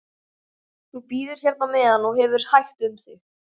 Þú bíður hérna á meðan og hefur hægt um þig.